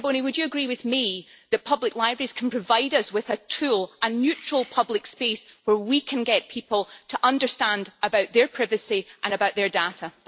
Mr Boni, would you agree with me that public libraries can provide us with a tool, a neutral public space where we can get people to understand about their privacy and about their data?